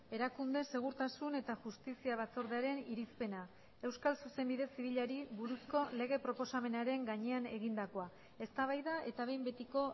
erakunde segurtasun eta justizia batzordearen irizpena euskal zuzenbide zibilari buruzko lege proposamenaren gainean egindakoa eztabaida eta behin betiko